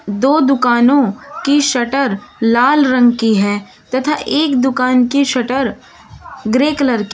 दो दुकानों की शटर लाल रंग की है तथा एक दुकान की शटर ग्रे कलर की--